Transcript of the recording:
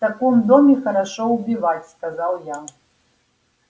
в таком доме хорошо убивать сказал я